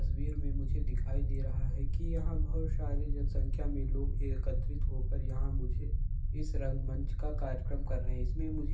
तस्वीर में मुझे दिखाई दे रहा है कि यहां बहोत सारी जनसंख्या में लोग एकत्रित होकर यहां मुझे इस रंगमंच का कार्यक्रम कर रहे हैं| इसमें मुझे --